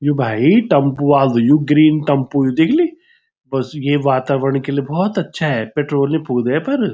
यु भाई टम्पू वालू यु ग्रीन टम्पू यु दिख्ली बस ये वातावरण के लिए बहौत अच्छा है पेट्रोल नी फुकदा येफर।